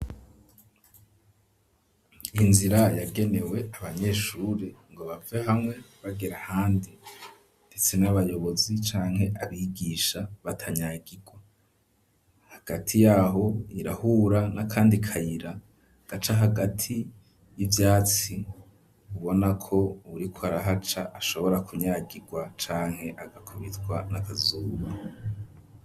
Inzira yagenewe abanyeshuri ngo bave hamwe bagere ahandi ndetse n'abayobozi canke abigisha batanyagirwa hagati yaho irahura n'akandi kayira gaca hagati y'ivyatsi ubonako uwuriko arahaca ashobora kunyagirwa canke agakubitwa n'akazuba.